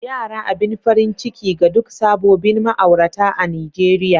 Yara abin farin ciki ga duk sabobin ma'aurata a'Nijeriya.